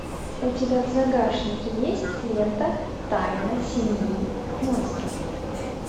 у тебя в загашнике есть лента тайна семьи монстров